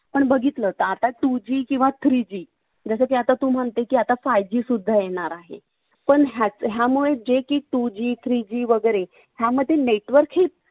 पण बघितलं तर आता two G किंवा three G जसं की आता तू म्हणते की आता five G सुद्धा येणार आहे पण यामुळे जे की two G three G वैगरे यामध्ये network ही